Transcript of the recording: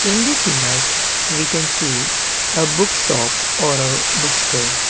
in this image we can see a bookshop or a bookstore.